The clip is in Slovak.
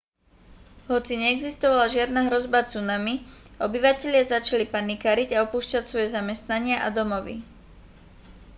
hoci neexistovala žiadna hrozba tsunami obyvatelia začali panikáriť a opúšťať svoje zamestnania a domovy